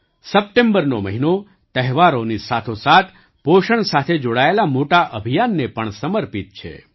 સપ્ટેમ્બરનો મહિનો તહેવારોની સાથોસાથ પોષણ સાથે જોડાયેલા મોટા અભિયાનને પણ સમર્પિત છે